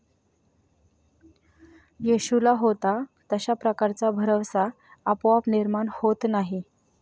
येशूला होता तशा प्रकारचा भरवसा आपोआप निर्माण होत नाही.